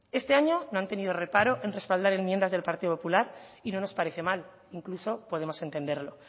este año no han tenido reparo en respaldar enmiendas del partido popular y no nos parece mal incluso podemos entenderlo